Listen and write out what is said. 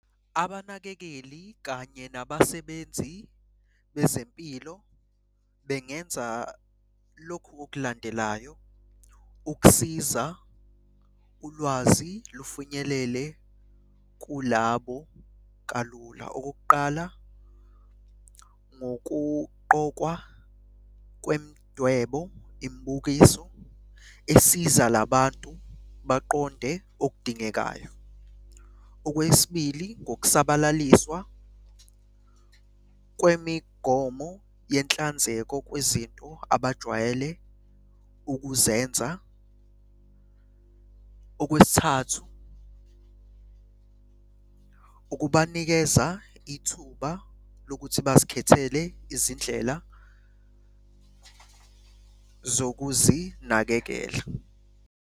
Abanakekeli kanye nabasebenzi bezempilo bengenza lokhu okulandelayo, ukusiza ulwazi lufinyelele kulabo kalula. Okokuqala, ngokuqokwa kwemdwebo, imibukiso esiza la bantu baqonde okudingekayo. Okwesibili, ngokusabalaliswa kwemigomo yenhlanzeko kwezinto abajwayele ukuzenza. Okwesithathu, ukubanikeza ithuba lokuthi bazikhethele izindlela zokuzinakekela.